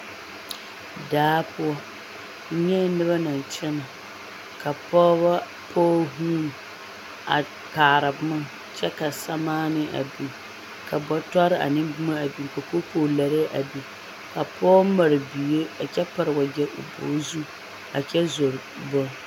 Daa poɔ, n nyɛɛ noba naŋ kyɛnɛ ka pɔgebɔ pɔge huuni a kaara boma kyɛ ka samaanee a biŋ ka bɔtɔre ane boma a biŋ ka kookolarɛɛ a biŋ, ka pɔge mare bie a kyɛ pare wagyɛ o bɔg zu a kyɛ zoro boŋ